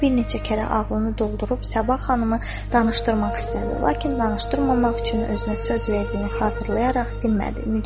O bir neçə kərə oğlunu doldurub Sabah xanımı danışdırmaq istədi, lakin danışdırmamaq üçün özünə söz verdiyini xatırlayaraq dinmədi.